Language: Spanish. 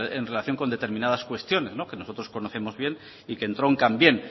en relación con determinadas cuestiones que nosotros conocemos bien y que entroncan bien